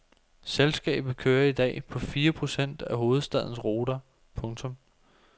Selskabet kører i dag på fire procent af hovedstadens ruter. punktum